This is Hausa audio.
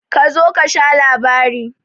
Kazo kasha labari.